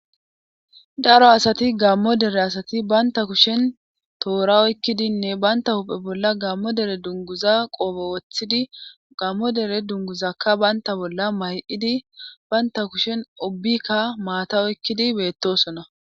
Daro asati gammo dere asati baynta kushen toora oykkidinne baynta huuphe bolla gammo dere dunguza qoobo woththidi gammo dere dunguzakka baynta bolla may7idi baynta kushen obikka maata oykkidi beettosona.